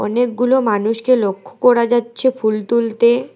অনেকগুলো মানুষ কে লক্ষ্য করা যাচ্ছে ফুল তুলতে।